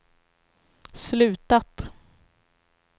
slutat